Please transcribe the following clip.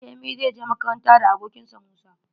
Femi zai je makaranta da abokin sa Musa.